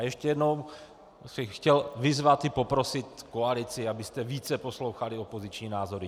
A ještě jednou bych chtěl vyzvat i poprosit koalici, abyste více poslouchali opoziční názory.